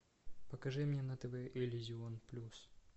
покажи мне на тв иллюзион плюс